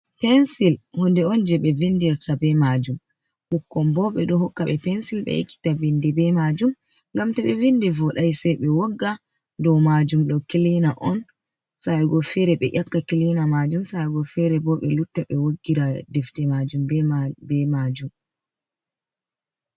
Pencil hunde oun jeɓe windirta bee majum, ɓikkoy boh ɓeɗon hokkaɓe pencil ɓe ekkita bindi bee majum, ngam ɓe windi wodai sei ɓe wogga dow majum, ɗo kilina oun sa'ego feere sei ƴakka kilina majum, sa'ego feere ɓelutta ɓewoggira defte majum ɓeh maju bee majum.